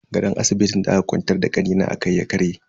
Gadon asibitin da aka kwantar da kanina akai ya karye.